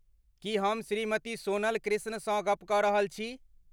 की हम श्रीमति सोनल कृष्णसँ गप कऽ रहल छी?